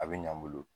A bɛ ɲ'an bolo